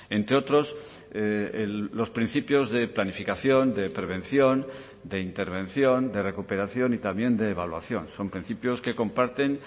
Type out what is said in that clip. entre otros los principios de planificación de prevención de intervención de recuperación y también de evaluación son principios que comparten